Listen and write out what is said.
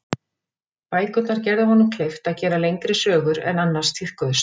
Bækurnar gerðu honum kleift að gera lengri sögur en annars tíðkuðust.